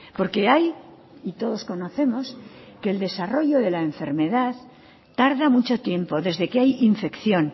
porque hay y todos conocemos que el desarrollo de la enfermedad tarda mucho tiempo desde que hay infección